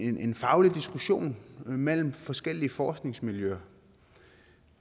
en faglig diskussion mellem forskellige forskningsmiljøer